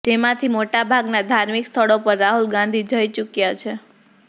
જેમાંથી મોટાભાગના ધાર્મિક સ્થળો પર રાહુલ ગાંધી જઇ ચૂક્યા છે